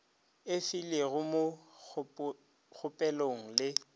e filego mo kgopelong le